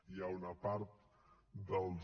hi ha una part dels